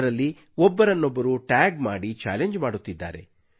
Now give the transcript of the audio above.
ಅದರಲ್ಲಿ ಒಬ್ಬರನ್ನೊಬ್ಬರು ಟ್ಯಾಗ್ ಮಾಡಿ ಚಾಲೆಂಜ್ ಮಾಡುತ್ತಿದ್ದಾರೆ